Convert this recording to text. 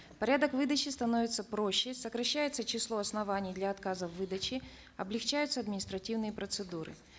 порядок выдачи становится проще сокращается число оснований для отказа в выдаче облегчаются административные процедуры